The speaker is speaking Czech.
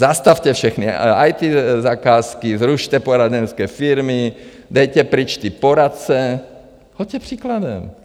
Zastavte všechny IT zakázky, zrušte poradenské firmy, dejte pryč ty poradce, choďte příkladem.